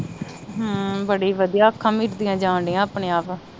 ਹਮ ਬੜੀ ਵਧੀਆ ਅੱਖਾਂ ਮੀਟਦੀਆਂ ਜਾਂਦੀਆਂ ਆਪਣੇ ਆਪ